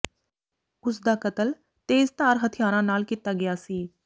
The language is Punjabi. ਉਸ ਦਾ ਕਤਲ ਤੇਜ਼ਧਾਰ ਹਥਿਆਰਾਂ ਨਾਲ ਕੀਤਾ ਗਿਆ ਸੀ